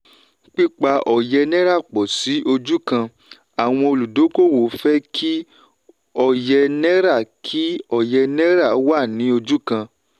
pípa òye náírà pọ̀ sí ojú kan: àwọn olúdókòwò fẹ́ kí òye náírà kí òye náírà wá ní ojú kan.